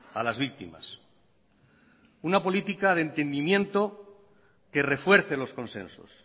a las víctimas una política de entendimiento que refuerce los consensos